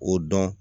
O dɔn